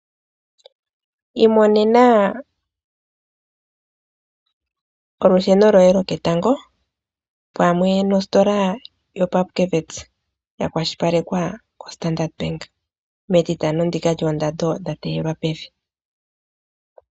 Iimonena olusheno lwoye lwoketango pamwe nositola yoPupkewitz yakwashilipalekwa koStandard Bank mEtitano ndika lyoondando dhateyelwa pevi.